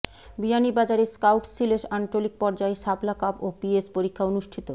বিয়ানীবাজারে স্কাউটস সিলেট আঞ্চলিক পর্যায়ে শাপলা কাব ও পিএস পরীক্ষা অনুষ্ঠিত